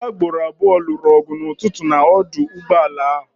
Ndị agboro abụọ lụrụ ọgụ n'ụtụtụ n'ọdụ ụgbọala a.